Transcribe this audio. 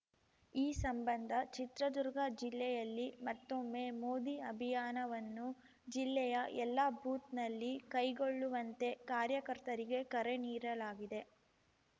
ಈ ಸಂಬಂಧ ಚಿತ್ರದುರ್ಗ ಜಿಲ್ಲೆಯಲ್ಲಿ ಮತ್ತೊಮ್ಮೆ ಮೋದಿ ಅಭಿಯಾನವನ್ನು ಜಿಲ್ಲೆಯ ಎಲ್ಲ ಬೂತ್‌ನಲ್ಲಿ ಕೈಗೊಳ್ಳುವಂತೆ ಕಾರ್ಯಕರ್ತರಿಗೆ ಕರೆ ನೀಡಲಾಗಿದೆ